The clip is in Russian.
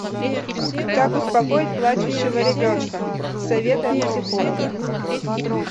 как успокоить плачущего ребенка советы от психолога